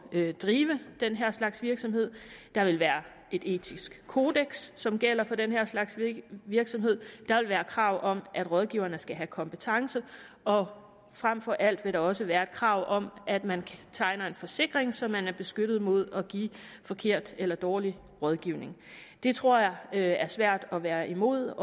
at drive den her slags virksomhed der vil være et etisk kodeks som gælder for den her slags virksomheder der vil være krav om at rådgiverne skal have kompetence og frem for alt vil der også være et krav om at man tegner en forsikring så man er beskyttet mod at give forkert eller dårlig rådgivning det tror jeg er svært at være imod